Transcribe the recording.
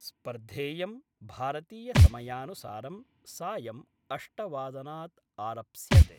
स्पर्धेयं भारतीय समायानुसारं सायम् अष्टवादनात् आरप्स्यते।